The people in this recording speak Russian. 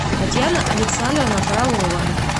татьяна александровна фролова